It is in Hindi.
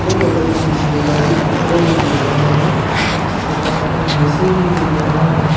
ये फोटो में मुझे गाड़ी के शोरूम दिख रहा है इसके पास एक जे_सी_बी दिख रहा है।